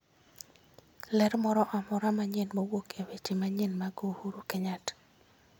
Ler moro amora manyien mowuok e weche manyien mag Uhuru Kenyatta